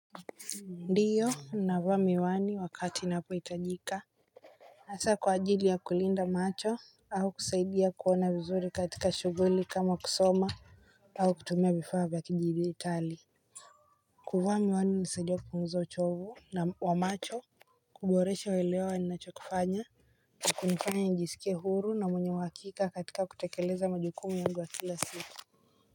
Ndiyo ninavaa miwani wakati inapohitajika hasa kwa ajili ya kulinda macho au kusaidia kuona vizuri katika shughuli kama kusoma au kutumia vifaa vya kijidijitali kuvaa miwani hunisaidia kupunguza uchovu wa macho kuboresha uelewa wa ninachokifanya na kunifanya njisikie huru na mwenye uhakika katika kutekeleza majukumu yangu ya kila siku.